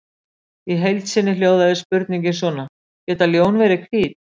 Í heild sinni hljóðaði spurningin svona: Geta ljón verið hvít?